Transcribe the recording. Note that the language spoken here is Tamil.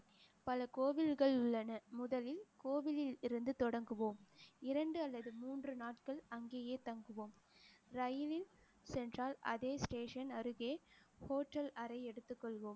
பல கோவில்கள் உள்ளன முதலில் கோவிலில் இருந்து தொடங்குவோம். இரண்டு அல்லது மூன்று நாட்கள் அங்கேயே தங்குவோம். ரயிலில் சென்றால் அதே station அருகே hotel அறை எடுத்துக் கொள்வோம்.